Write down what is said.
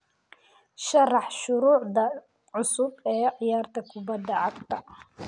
sharax shuruucda cusub ee ciyaarta kubada cagta